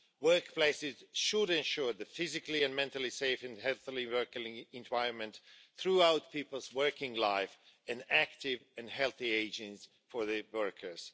Workplaces should ensure a physically and mentally safe and healthy working environment throughout people's working life, and active and healthy ageing for workers.